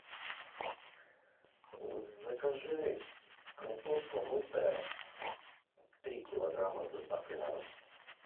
закажи картошка мытая три килограмма с доставкой на дом